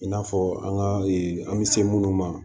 I n'a fɔ an ka an bɛ se minnu ma